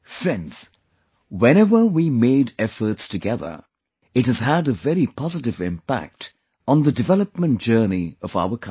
Friends, whenever we made efforts together, it has had a very positive impact on the development journey of our country